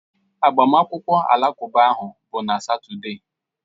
Agbamakwụkwọ Alakụba ahụ bụ na Satọde